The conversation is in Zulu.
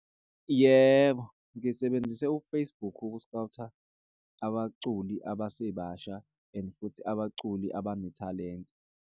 Yebo, ngisebenzise u-Facebook ukuskhawutha abaculi abasebasha and futhi abaculi abanethalente.